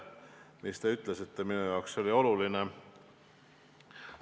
See, mis te ütlesite, oli minu jaoks oluline.